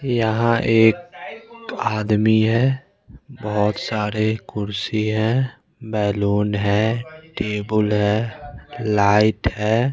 यहाँ एक आदमी है बहुत सारे कुर्सी हैं बैलून है टेबुल है लाइट है।